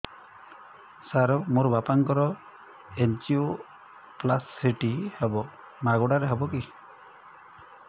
ସାର ମୋର ବାପାଙ୍କର ଏନଜିଓପ୍ଳାସଟି ହେବ ମାଗଣା ରେ ହେବ କି